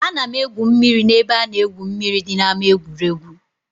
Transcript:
Ana m egwu mmiri na-ebe a na-egwu mmiri dị na ama egwuregwu.